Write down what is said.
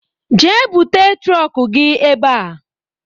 Jee bute trọk gị ebe a!